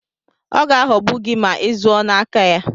Ọ ga-aghogbu gị ma izụọ n'aka ya.